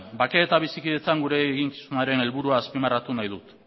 bakea eta bizikidetzan gure eginkizunaren helburua azpimarratu nahi dut